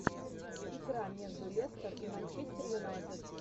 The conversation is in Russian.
игра между лестер и манчестер юнайтед